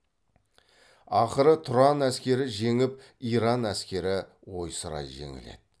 ақыры тұран әскері жеңіп иран әскері ойсырай жеңіледі